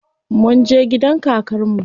Munje gidan kakar mu.